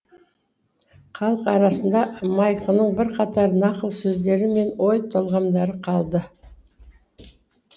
халық арасында майқының бірқатар нақыл сөздері мен ой толғамдары қалды